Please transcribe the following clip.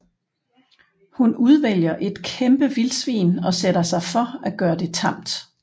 Hun udvælger et kæmpe vildsvin og sætter sig for at gøre det tamt